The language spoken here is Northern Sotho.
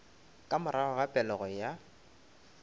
ka morago ga pelego ya